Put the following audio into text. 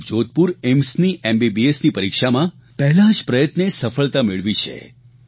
તેમણે જોધપુર એઇમ્સની એમબીબીએસની પરિક્ષામાં પહેલા જ પ્રયત્ને સફળતા મેળવી છે